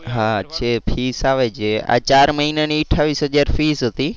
હા છે fees આવે છે આ ચાર મહિનાની અઠાવીસ હજાર fees હતી.